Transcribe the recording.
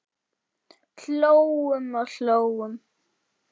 Hlógum og hlógum.